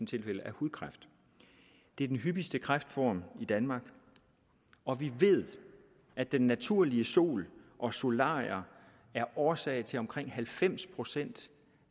tilfælde af hudkræft det er den hyppigste kræftform i danmark og vi ved at den naturlige sol og solarier er årsag til omkring halvfems procent